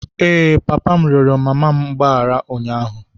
Ee, papa m rịọrọ mama m mgbaghara ụnyaahụ.